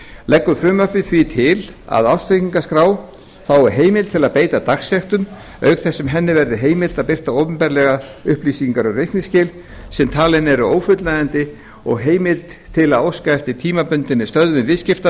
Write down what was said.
leggur frumvarpið því til að ársreikningaskrá fái heimild til að beita dagsektum auk þess sem henni verður heimilt að birta opinberlega upplýsingar um reikningsskil sem talin eru ófullnægjandi og heimild til að óska eftir tímabundinni stöðvun viðskipta